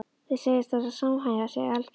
Þau segjast verða að samhæfa sig algjörlega.